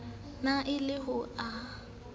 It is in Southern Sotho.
ne e le ho a